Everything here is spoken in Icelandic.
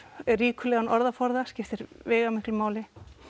ríkulegan orðaforða skiptir veigamiklu máli